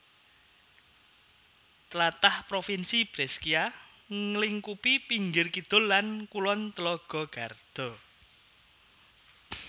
Tlatah Provinsi Brescia nglingkupi pinggir kidul lan kulon telaga Garda